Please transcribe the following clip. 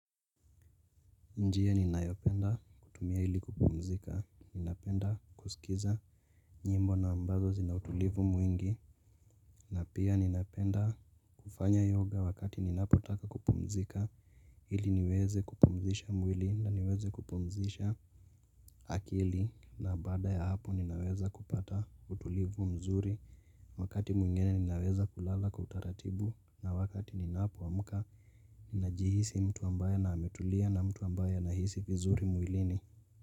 Njia ninayopenda kutumia ili kupumzika, ninapenda kusikiza nyimbo na ambazo zina utulivu mwingi, na pia ninapenda kufanya yoga wakati ninapotaka kupumzika, hili niweze kupumzisha mwili na niweze kupumzisha akili, na baada ya hapo ninaweza kupata utulivu mzuri, wakati mwingine ninaweza kulala kwa utaratibu, na wakati ninapo amka, ninajihisi mtu ambaye na ametulia na mtu ambaye anahisi vizuri mwilini.